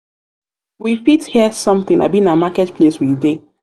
we fit hear something abi na market place we dey?